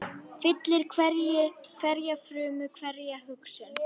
Fyllir hverja frumu, hverja hugsun.